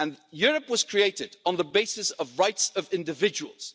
Europe was created on the basis of rights of individuals.